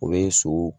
O bɛ so